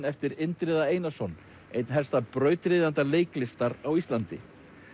eftir Indriða Einarsson einn helsta brautryðjanda leiklistar á Íslandi